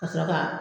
Ka sɔrɔ ka